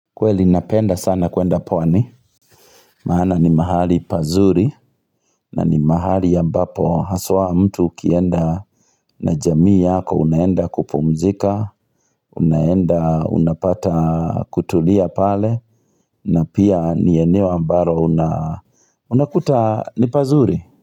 Kweli napenda sana kuenda pawani. Mahana ni mahali pazuri. Na ni mahali ambapo haswa mtu ukienda na jamii ya yako unaenda kupumzika. Unaenda, unapata kutulia pale. Na pia ni eneo ambalo una. Unakuta ni pazuri.